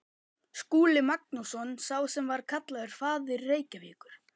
Skúli Magnússon, sá sem var kallaður faðir Reykjavíkur.